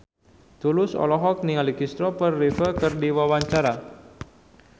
Tulus olohok ningali Kristopher Reeve keur diwawancara